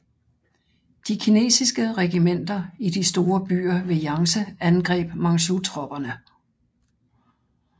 De kinesiske regimenter i de store byer ved Jangtse angreb manchutropperne